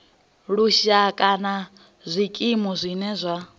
lushaka nga zwikimu zwine zwa